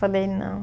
Falei, não.